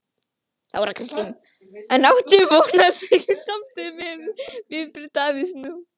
Þóra Kristín: En áttu von á slíkri samstöðu miðað við viðbrögð Davíðs nú?